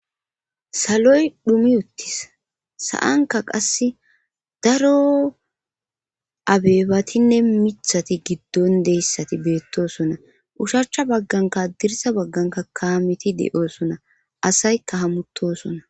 saloy dhumi uttis sa7anka qasse daro abeebatinne mithati giddon deyssati beettosona ushachcha bagganka adirsa bagganka kaamiti de7oosona asayka hamutosona